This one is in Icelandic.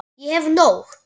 Ég hef nóg.